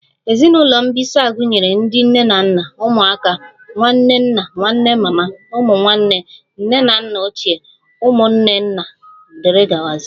Ezinụlọ mbisa gụnyere ndị nne na nna, ụmụaka, nwanne nna, nwanne mama, ụmụ nwanne, nne na nna ochie, ụmụnne nna wdg